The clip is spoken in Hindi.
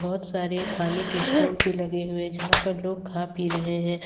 बहोत सारे खाने के स्टाल भी लगे हुए जहां पे लोग खा पी रहे हैं।